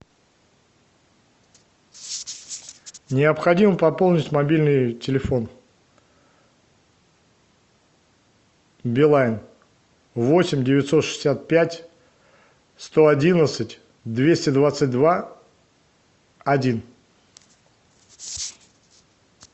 необходимо пополнить мобильный телефон билайн восемь девятьсот шестьдесят пять сто одиннадцать двести двадцать два один